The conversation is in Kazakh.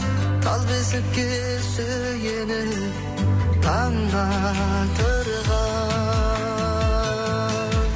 тал бесікке сүйеніп таңды атырған